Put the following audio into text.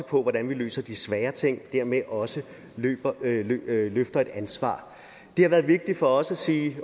på hvordan vi løser de svære ting og dermed også løfter et ansvar det har været vigtigt for os at sige